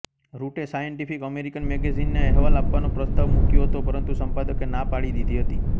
રુટે scientific American મેગેઝિનને અહેવાલ આપવાનો પ્રસ્તાવ મુક્યો હતો પરંતુ સંપાદકે ના પાડી દીધી હતી